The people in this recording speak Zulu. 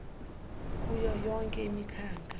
kuyo yonke imikhakha